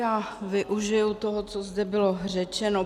Já využiji toho, co zde bylo řečeno.